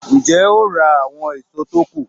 Ń jẹ́ ó ra àwọn èso tó kù